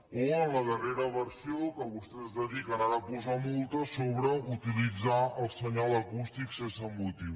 o en la darrera versió que vostès es dediquen ara a posar multes sobre utilitzar el senyal acústic sense motiu